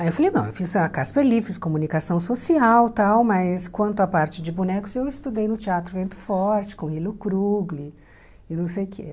Aí eu falei, não, eu fiz a Casper Líbero, fiz comunicação social e tal, mas quanto à parte de bonecos, eu estudei no Teatro Vento Forte, com Ilo Krugli e não sei o quê.